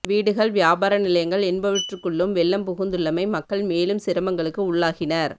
வீடுகள் வியாபார நிலையங்கள் என்பவற்றுக்குள்ளும் வெள்ளம் புகுந்துள்ளமை மக்கள் மேலும் சிரமங்களுக்கு உள்ளாகினர்